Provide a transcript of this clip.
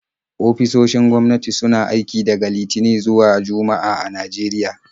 Ofisoshin gwamnati suna aiki daga Litinin zuwa Juma'a a Najeriya.